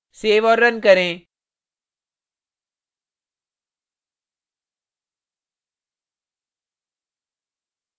save और run करें